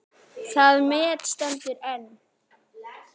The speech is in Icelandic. Það met stendur enn.